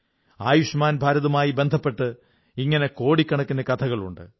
ആയുഷ്മാൻ ഭാരത് മായി ബന്ധുപ്പെട്ട് ഇങ്ങനെ കോടിക്കണക്കിനു കഥകളുണ്ട്